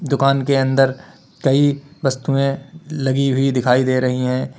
दुकान के अंडर कई वस्तुएं लगी दिखाई दे रही हैं।